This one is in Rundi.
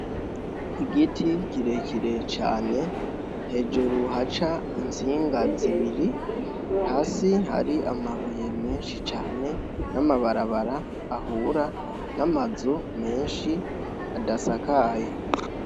Igiti kirekire cane hejuru haca intsinga zibiri hasi hari amabuye menshi cane n'amabarabara ahura n'amazu menshi adasakaye.